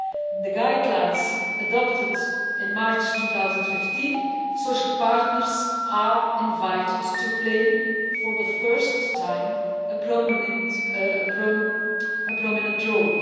In the guidelines adopted in March 2015 social partners are invited to play, for the first time, a prominent role.